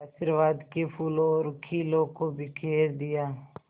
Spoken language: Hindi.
आशीर्वाद के फूलों और खीलों को बिखेर दिया